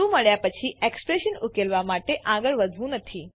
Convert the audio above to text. true મળ્યા પછી expression ઉકેલવા માટે આગળ વધતું નથી